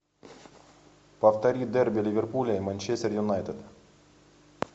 повтори дерби ливерпуля и манчестер юнайтед